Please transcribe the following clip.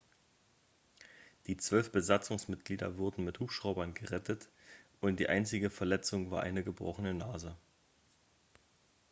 die zwölf besatzungsmitglieder wurden mit hubschraubern gerettet und die einzige verletzung war eine gebrochene nase